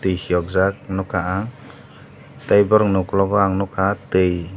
piyok jak nogka ang tei borok no okolog o ang nogka twi.